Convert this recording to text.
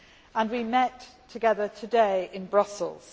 and we met together today in Brussels.